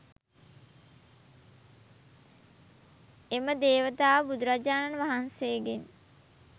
එම දේවතාව බුදුරජාණන් වහන්සේගෙන්